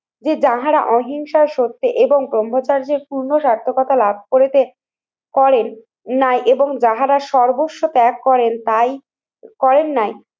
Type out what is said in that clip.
যে যাহারা অহিংসা সত্য এবং ব্রহ্মচর্যে পূর্ণ স্বার্থকতা লাভ করেছে, করেন না এবং যাহারা সর্বস্ব ত্যাগ করেন তাই করেন নাই